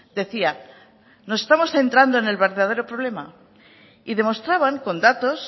decían que nos estamos centrando en el verdadero problema y demostraban con datos